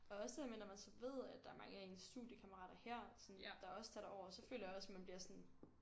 Og også det der med når man så ved at der er mange af ens studiekammarater her sådan der også tager derover så føler jeg også man bliver sådan